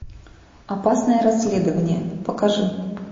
опасное расследование покажи